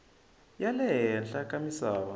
ya le henhla ka misava